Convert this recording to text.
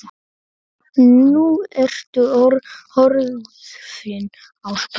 Nú ertu horfin á braut.